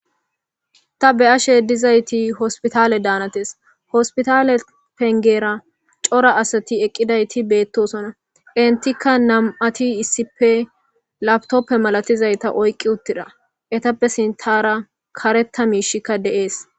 Ta be'ashe dizayti Hospita danates hospitale pengera cora asati eqqidaytti bettosona.enttika nam'atti issippe laptptoppe malatiza oyqqi uttida ettappe sinthara karetha mishshi de'ees.